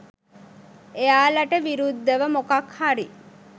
එයාලට විරුද්ධව මොකක් හරි